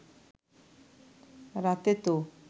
রাতে তো